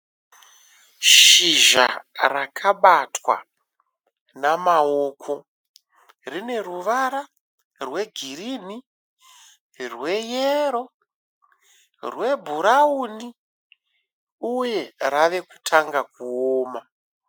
Shizha rakabatwa namaoko. Rine ruvara rwe girinhi, rweyero, rwe bhurauni uye rave kutanga kuoma.